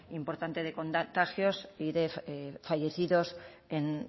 importante de contagios y de fallecidos en